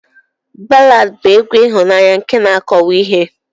Ballad bu egwu ihụnanya nke na akọwa ihe.